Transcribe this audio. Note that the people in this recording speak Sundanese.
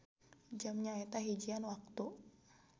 Jam nyaeta hijian waktu